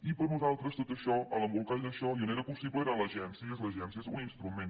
i per nosaltres tot això l’embolcall d’això i on era possible era l’agència i és l’agència és un instrument